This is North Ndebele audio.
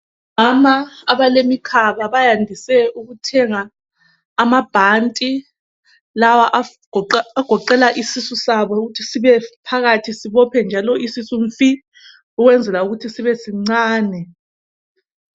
Omama abalemikhaba bayandise ukuthenga amabhanti lawa agoqela isisu sabo ukuthi sibe phakathi, sibophe njalo isisu mfi ukwenzela ukuthi sibe sincane.